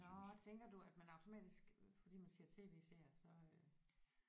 Nåh tænker du at man automatisk fordi man siger TV-serier så øh